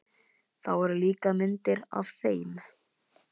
Það voru líka myndir af þeim.